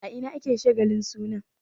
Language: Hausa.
A ina ne ake shagalin sunan?